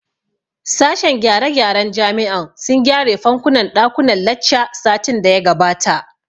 Sashen gyare gyaren jami'an sun gyare fankunan ɗakunnan lacca satin da ya gabata